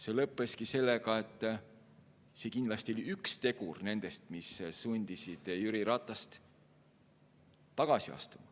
See lõppeski sellega, et see oli kindlasti üks tegur, mis sundis Jüri Ratast tagasi astuma.